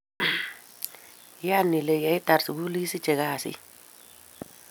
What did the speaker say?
Iyan ile yeitar sukul isiche kasit.